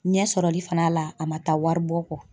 Ɲɛ sɔrɔli fana la a ma taa waribɔ kɔ.